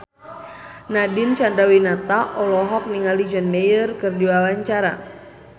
Nadine Chandrawinata olohok ningali John Mayer keur diwawancara